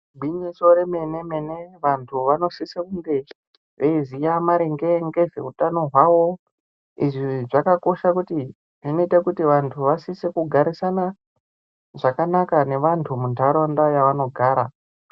Igwinyiso remenemene vantu vasise kunge veiziye maringe ngezveutano wavo izvi zvakosha kuti zvinoita kuti vantu vasise kugarisana zvakanaka nevantu muntaraunda mavanogara